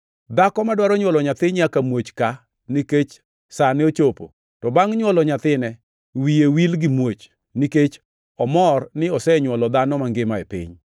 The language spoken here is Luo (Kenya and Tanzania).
Dhako madwaro nywolo nyathi nyaka muoch kaa nikech sane ochopo; to bangʼ nywolo nyathine, wiye wil gi muoch, nikech omor ni osenywolo dhano mangima e piny.